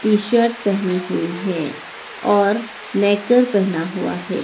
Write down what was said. T shirt पहनी हुई है और नेकर कर पहना हुआ है।